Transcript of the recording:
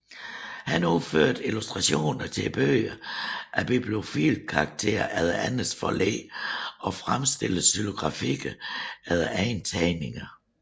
Han udførte illustrationer til bøger af bibliofil karakter efter andres forlæg og fremstillede xylografier efter egne tegninger